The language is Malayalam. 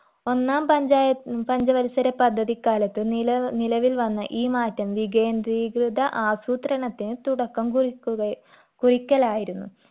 ഒന്നാം പഞ്ചായ ഉം പഞ്ചവത്സര പദ്ധതിക്കാലത്ത് നില നിലവിൽ വന്ന ഈ മാറ്റം വികേന്ദ്രീകൃത ആസൂത്രണത്തിന് തുടക്കം കുറിക്കുകയാ കുറിക്കലായിരുന്നു